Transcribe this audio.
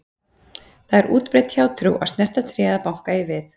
Það er útbreidd hjátrú að snerta tré eða banka í við.